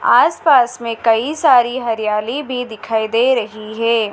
आस पास मे कई सारी हरियाली भी दिखाई दे रही है।